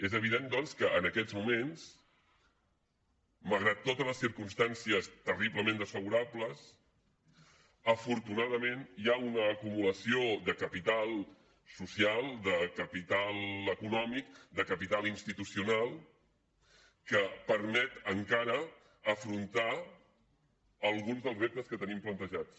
és evident doncs que en aquests moments malgrat totes les circumstàncies terriblement desfavorables afortunadament hi ha una acumulació de capital social de capital econòmic de capital institucional que permet encara afrontar alguns dels reptes que tenim plantejats